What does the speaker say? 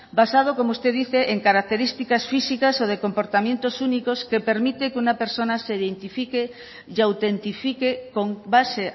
basado como usted dice en características físicas o de comportamientos únicos que permite que una persona se identifique y autentifique con base